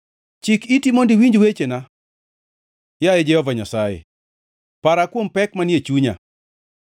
Chik iti mondo iwinj wechena, yaye Jehova Nyasaye, para kuom pek manie chunya.